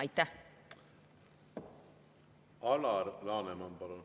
Alar Laneman, palun!